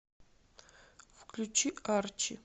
включи арчи